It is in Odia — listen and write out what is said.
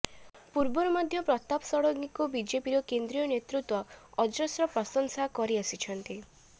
ପୂର୍ବରୁ ମଧ୍ୟ ପ୍ରତାପ ଷଡ଼ଙ୍ଗୀଙ୍କୁ ବିଜେପିର କେନ୍ଦ୍ରୀୟ ନେତୃତ୍ୱ ଅଜସ୍ର ପ୍ରଶଂସା କରି ଆସିଛନ୍ତି